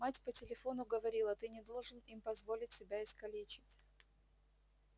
мать по телефону говорила ты не должен им позволить себя искалечить